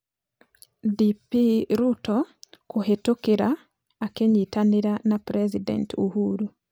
DP Ruto kũhĩtũkĩra akĩnyitanĩra na President ũhuru